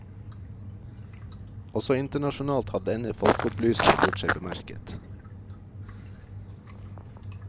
Også internasjonalt har denne folkeopplyseren gjort seg bemerket.